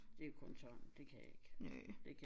Det kun tang det kan jeg ikke det kan